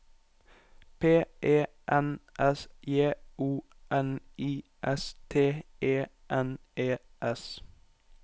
P E N S J O N I S T E N E S